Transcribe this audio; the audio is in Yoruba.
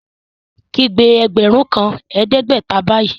Kígbe ẹgbẹ́run kan ẹdẹgbẹ̀tà báyì!